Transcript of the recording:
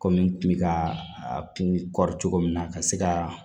Kɔmi n kun bɛ ka a kun cogo min na ka se ka